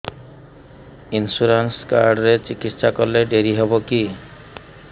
insurance card ରେ ଚିକିତ୍ସା କଲେ ଡେରି ହବକି